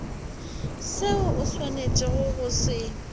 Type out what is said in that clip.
seo o swanetšego go se